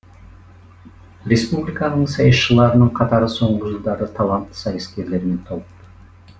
республиканың сайысшыларының қатары соңғы жылдары талантты сайыскерлермен толық